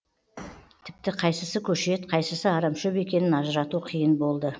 тіпті қайсысы көшет қайсысы арамшөп екенін ажырату қиын болды